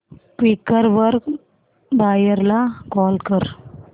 Quikr वर buyer ला call कर